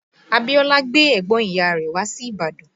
Abíọ́lá gbé ẹ̀gbọ́n ìyá rẹ̀ wá sí Ìbàdàn